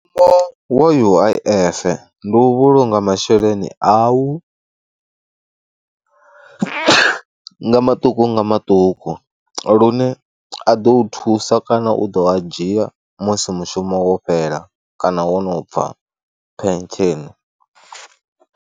Mushumo wa U_I_F ndi u vhulunga masheleni au nga maṱuku nga maṱuku lune a ḓo u thusa kana u ḓo a dzhia musi mushumo wo fhela kana wo no bva phentsheni.